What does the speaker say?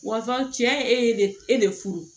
Wa fɔ cɛ e ye ne e le furu